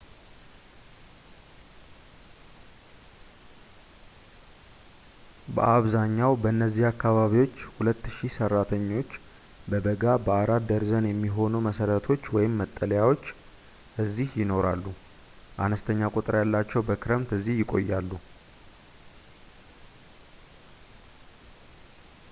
በአብዛኛው በእነዚያ አካባቢዎች ሁለት ሺህ ሰራተኞች በበጋ በአራት ደርዘን የሚሆኑ መሰረቶች/መጠሊያዎች እዚህ ይኖራሉ፡ አነስተኛ ቁጥር ያላቸው በክረምት እዚህ ይቆያሉ